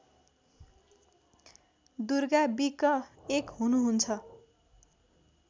दुर्गा बिक एक हुनुहुन्छ